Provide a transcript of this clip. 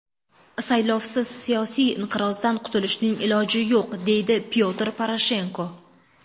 Saylovsiz siyosiy inqirozdan qutilishning iloji yo‘q”, dedi Pyotr Poroshenko.